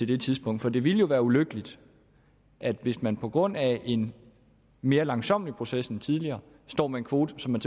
det tidspunkt for det ville jo være ulykkeligt hvis man på grund af en mere langsommelig proces end tidligere står med en kvote som man